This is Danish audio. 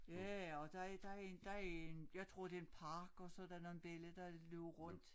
Ja ja og der en der en der en jeg tror det en park og så der nogen belli der løber rundt